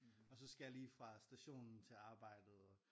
Og så skal jeg lige fra stationen til arbejdet